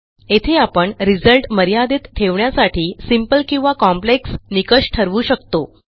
येथे आपण रिझल्ट मर्यादित ठेवण्यासाठी सिंपल किंवा कॉम्प्लेक्स निकष ठरवू शकतो